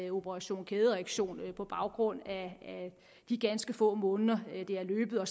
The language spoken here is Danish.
operation kædereaktion på baggrund af de ganske få måneder det har løbet og